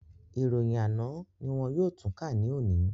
Ìròyìn àná ní wọn yóò tún kà ní òní